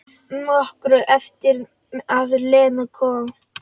Nokkru eftir að Lena kom.